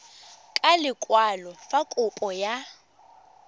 ka lekwalo fa kopo ya